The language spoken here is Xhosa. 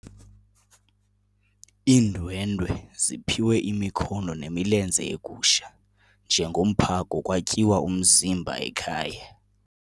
Iindwendwe ziphiwe imikhono nemilenze yegusha njengomphako kwatyiwa umzimba ekhaya.